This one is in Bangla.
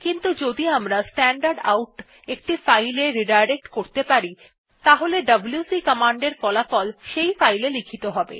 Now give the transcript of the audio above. কিন্তু যদি আমরা স্ট্যান্ডারডাউট একটি ফাইল এ রিডাইরেক্ট করতে পারি তাহলে ডব্লিউসি কমান্ডের ফলাফল সেই ফাইল এ লিখিত হবে